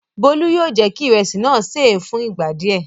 Bólú yóò jẹ́ kí ìrẹsì náà ṣé è fún ìgbà díẹ̀.